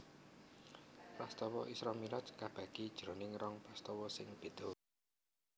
Prastawa Isra Mi raj kabagi jroning rong prastawa sing béda